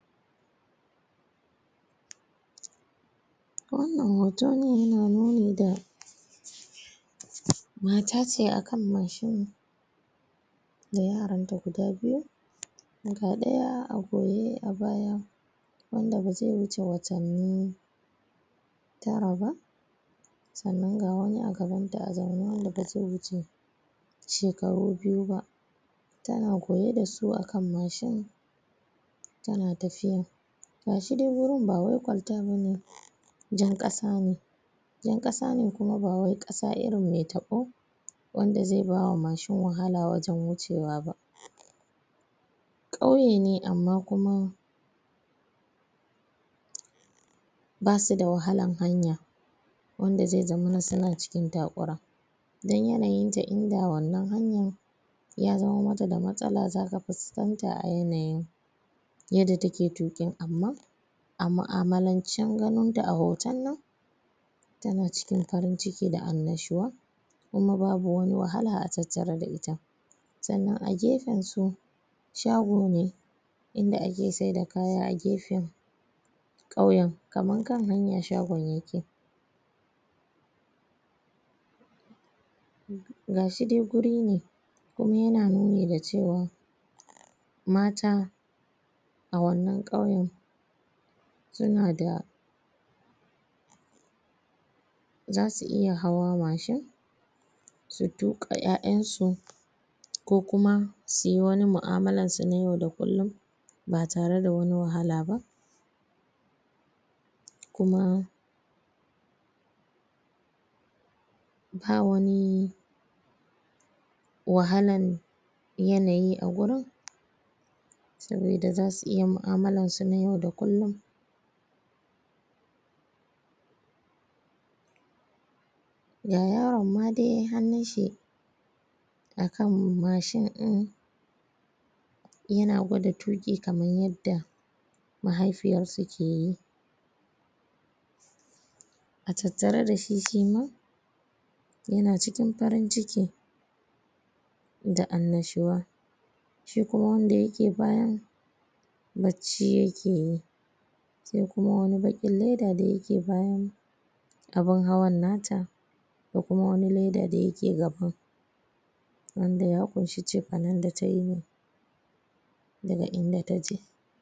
wannan hoton ya na nuni da mata ce akan machine da yaran ta guda biyu ga daya a goye a baya wanda ba zai wuce watanni tara ba sannan ga wani a gaban ta wanda ba zai wuce shekaru biyu ba tana goye dasu a kan machine tana tafiya gashi dai wurin ba wai kwalta bane jan kasa ne jan kasa ne kuma bawai kasa ne mai taɓo wanda zai ba wa machine wahala wajen wucewa kauye ne amma kuma basu da wahalan hanya wanda zai zama suna cikin takura dan yanayin ta in da wannan hanyan ya zama mata da masala zaka fuskanta a yanayin yadda take tukin amma a mu'amalancen ganin ta a hoton nan tana cikin farin ciki da an'nashuwa kuma babu wani wahala a tattare da ita sannan a gefen su shago ne inda ake saida kaya a gefen kauyen kaman kan hanya shagon yake gashi dai guri ne kuma yana nuni da cewa mata a wannan kauyen suna da zasu iya hawa machine su tuƙa 'ya'yan su ko kuma suyi wani mu'amalan su na yau da kullun ba tare da wani wahala ba kuma bawani wahalan yanayi a gurin sabida zasu iya mu'amalansu na yau da kullun ga yaron ma dai hannun shi a kan machine din yana gwada tuki kamar yadda mahaifiyarsa ke yi a tattare dashi shima yana cikin farin ciki da an'nashuwa shi kuma wanda yake bayan bacci yake yi sa kuma wani bakin leda da yake bayan abun hawan nata da kuma wani leda da yake gaban wanda ya daga inda taje.